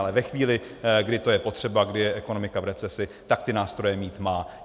Ale ve chvíli, kdy to je potřeba, kdy je ekonomika v recesi, tak ty nástroje mít má.